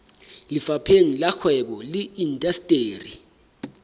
lefapheng la kgwebo le indasteri